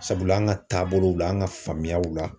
Sabula an ka taabolow la an ka faamuyaw la